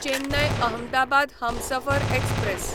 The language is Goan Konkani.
चेन्नय अहमदाबाद हमसफर एक्सप्रॅस